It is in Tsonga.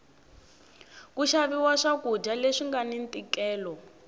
ku xaviwa swa kudya leswi ngani ntikelo